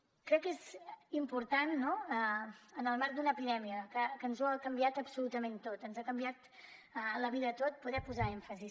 crec que és important en el marc d’una epidèmia que ens ho ha canviat absolutament tot ens ha canviat la vida a tots poder posar èmfasi